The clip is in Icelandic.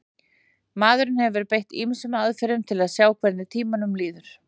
maðurinn hefur beitt ýmsum aðferðum til að sjá hvernig tímanum líður